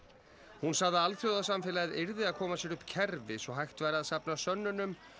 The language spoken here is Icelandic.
hún sagði að alþjóðasamfélagið yrði að koma sér upp kerfi svo hægt væri að safna sönnunum